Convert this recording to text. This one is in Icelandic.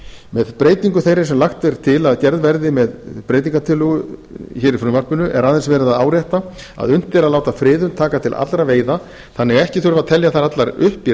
með breytingu þeirri sem lagt er til að gerð verði með breytingartillögu hér í frumvarpinu er aðeins verið að árétta að unnt er að láta friðun taka til allra veiða þannig að ekki þurfi að telja þær allar upp í